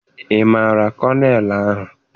Ị maara kọnel ahụ?